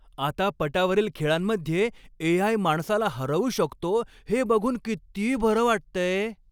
आता पटावरील खेळांमध्ये ए.आय. माणसाला हरवू शकतो हे बघून किती बरं वाटतंय.